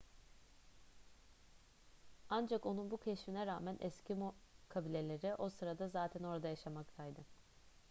ancak onun bu keşfine rağmen eskimo kabileleri o sırada zaten orada yaşamaktaydı